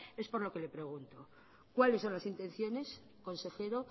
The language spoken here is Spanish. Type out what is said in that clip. es por lo que le pregunto cuáles son las intenciones consejero